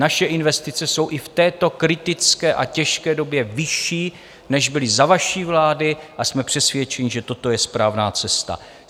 Naše investice jsou i v této kritické a těžké době vyšší, než byly za vaší vlády, a jsme přesvědčeni, že toto je správná cesta.